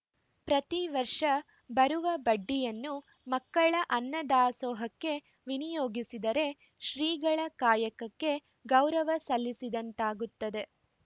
ಪ್ರತಿ ವರ್ಷ ಬರುವ ಬಡ್ಡಿಯನ್ನು ಮಕ್ಕಳ ಅನ್ನದಾಸೋಹಕ್ಕೆ ವಿನಿಯೋಗಿಸಿದರೆ ಶ್ರೀಗಳ ಕಾಯಕಕ್ಕೆ ಗೌರವ ಸಲ್ಲಿಸದಂತಾಗುತ್ತದೆ